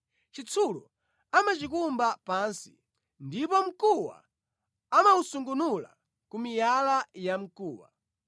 Chitsulo amachikumba pansi, ndipo mkuwa amawusungunula ku miyala yamkuwa.